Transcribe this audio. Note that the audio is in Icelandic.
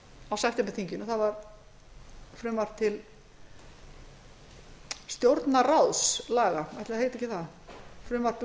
á septemberþinginu það var frumvarp til stjórnarráðslaga ætli það heiti ekki það frumvarp um